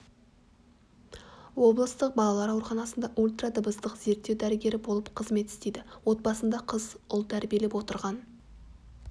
облыстық балалар ауруханасында ультра дыбыстық зерттеу дәрігері болып қызмет істейді отбасында қыз ұл тәрбиелеп отырған